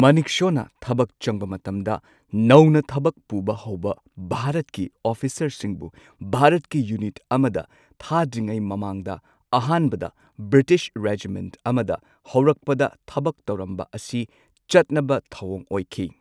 ꯃꯅꯦꯛꯁꯣꯅ ꯊꯕꯛ ꯆꯪꯕ ꯃꯇꯝꯗ, ꯅꯧꯅ ꯊꯕꯛ ꯄꯨꯕ ꯍꯧꯕ ꯚꯥꯔꯠꯀꯤ ꯑꯣꯐꯤꯁꯔꯁꯤꯡꯕꯨ ꯚꯥꯔꯠꯀꯤ ꯌꯨꯅꯤꯠ ꯑꯃꯗ ꯊꯥꯗ꯭ꯔꯤꯉꯩ ꯃꯃꯥꯡꯗ ꯑꯍꯥꯟꯕꯗ ꯕ꯭ꯔꯤꯇꯤꯁ ꯔꯦꯖꯤꯃꯦꯟꯠ ꯑꯃꯗ ꯍꯧꯔꯛꯄꯗ ꯊꯕꯛ ꯇꯧꯔꯝꯕ ꯑꯁꯤ ꯆꯠꯅꯕ ꯊꯧꯋꯣꯡ ꯑꯣꯏꯈꯤ꯫